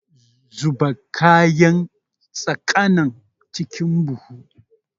Zuba kayan saƙanan cikin buhu!